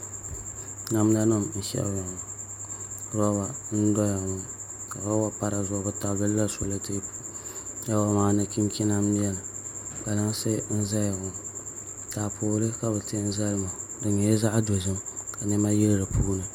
Namda nim n shɛbiya ŋɔ roba n doya ŋɔ ka roba pa dizuɣu bi tabililila solɛtɛp roba maa ni chinchina n biɛni kpalansi n ʒɛya ŋɔ taapooli ka bi ti n zali ŋɔ di nyɛla zaɣ dozim ka niɛma bɛ di puuni